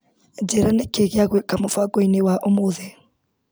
Njĩra nĩkĩĩ gĩa gwĩka kĩ mũbango-inĩ wa ũmũthĩ .